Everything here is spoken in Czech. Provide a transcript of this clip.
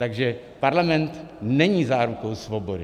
Takže parlament není zárukou svobody.